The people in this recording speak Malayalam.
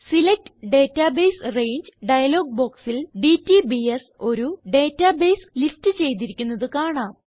സെലക്ട് ഡേറ്റാബേസ് രംഗെ ഡയലോഗ് ബോക്സിൽ ഡിടിബിഎസ് ഒരു ഡേറ്റാബേസ് ലിസ്റ്റ് ചെയ്തിരിക്കുന്നത് കാണാം